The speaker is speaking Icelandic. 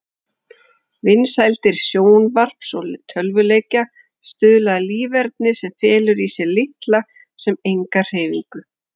Vinsældir sjónvarps og tölvuleikja stuðla að líferni sem felur í sér litla sem enga hreyfingu.